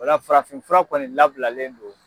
O la farafinfura kɔni labilalen do.